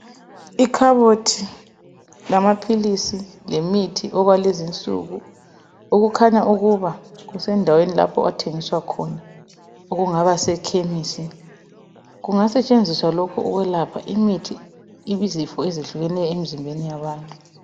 Ikhabothi lamaphilisi lemithi okwalezinsuku okukhanya ukuba kusendaweni lapho okuthengiswa khona okungabasekhemisi, kungasetshenziswa lokhu ukwelapha izifo ezitshiyeneyo emzimbeni wabantu.